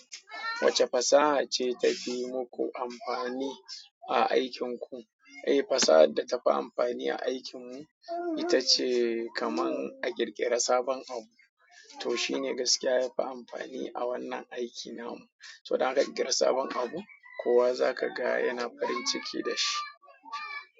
Wace fasaha ce ta fi muku amfani a aikinku? Eh, fasahar da ta fi amfani a aikinmu, ita ce kaman a ƙirƙira sabon abu. To shi ne gaskiya ya fi amfani a wannan aikin namu. To, idan ka ƙirƙira sabon abu, kowa zaka ga yana farin ciki da shi.